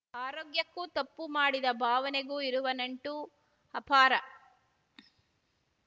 ಆರೋಗ್ಯಕ್ಕೂ ತಪ್ಪು ಮಾಡಿದ ಭಾವನೆಗೂ ಇರುವ ನಂಟು ಅಪಾರ